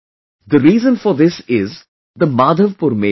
The reason for this is the "Madhavpur Mela"